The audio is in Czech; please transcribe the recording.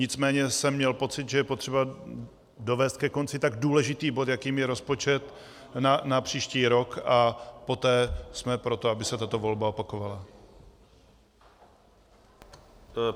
Nicméně jsem měl pocit, že je potřeba dovést ke konci tak důležitý bod, jakým je rozpočet na příští rok, a poté jsme pro to, aby se tato volba opakovala.